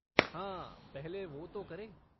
हाँ, पहले वो तो करें।